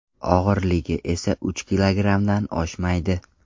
Og‘irligi esa uch kilogrammdan oshmaydi.